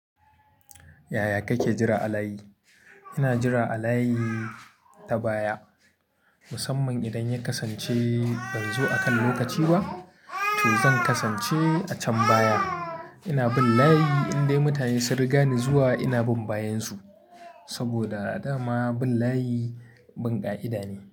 Yaya kake jira a layi? Ina jira a layi ta baya musamman idan ya kasance ban zo akan lokaci ba toh zan kasance a can baya. Ina bin layi indai mutane sun riga ni zuwa ina bin bayansu. Saboda a da ma bin layi bin ƙa'ida ne.